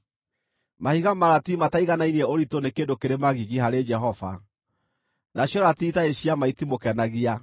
Mahiga ma ratiri mataiganainie ũritũ nĩ kĩndũ kĩrĩ magigi harĩ Jehova, nacio ratiri itarĩ cia ma itimũkenagia.